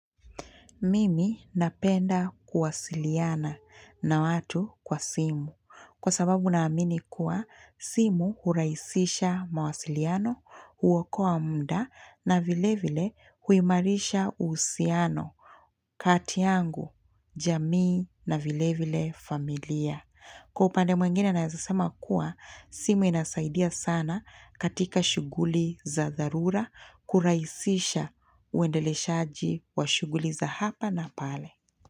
Mimi napenda kuwasiliana na watu kwa simu kwa sababu naamini kuwa simu huraisisha mawasiliano huokoa mda na vile vile huimarisha uhusiano kati yangu jamii na vile vile familia. Kwa upande mwengine naeza sema kuwa, simu inasaidia sana katika shughuli za dharura kuraisisha uendeleshaji wa shughuli za hapa na pale.